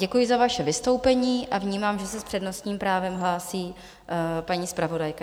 Děkuji za vaše vystoupení a vnímám, že se s přednostním právem hlásí paní zpravodajka.